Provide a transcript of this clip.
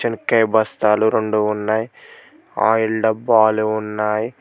ఒక్కే బస్తాలు రెండు ఉన్నయ్ ఆయిల్ డబ్బాలు ఉన్నాయ్.